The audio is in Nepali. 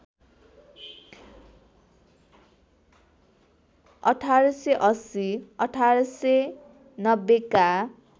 १८८० १८९० का